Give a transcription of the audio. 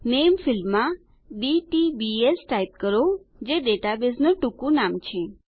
નામે ફિલ્ડમાં DTBS type કરો જે ડેટાબેઝનું ટુકું નામ છે